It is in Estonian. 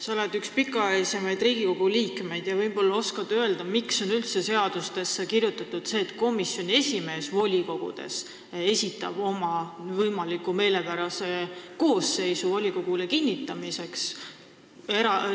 Sa oled üks pikaajalisemaid Riigikogu liikmeid ja võib-olla oskad öelda, miks on üldse seadustesse kirjutatud see, et volikogu komisjoni esimees esitab komisjoni võimaliku, talle meelepärase koosseisu volikogule kinnitamiseks.